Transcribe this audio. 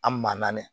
An man naani ye